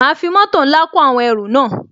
Ma fi mótò ńlá kó àwọn ẹrù náà